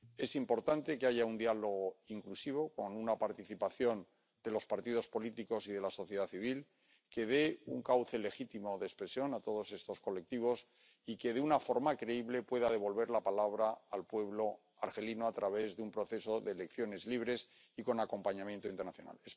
Es importante que haya un diálogo inclusivo, con una participación de los partidos políticos y de la sociedad civil, que dé un cauce legítimo de expresión a todos estos colectivos y que de una forma creíble pueda devolver la palabra al pueblo argelino a través de un proceso de elecciones libres y con acompañamiento internacional.